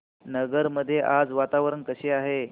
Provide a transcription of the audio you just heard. नगर मध्ये आज वातावरण कसे आहे